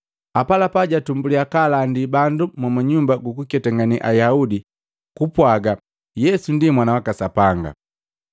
Apalapa jatumbuliya kaalandi bandu mu Nyumba jukuketangane Ayaudi kupwaaga Yesu ndi Mwana waka Sapanga.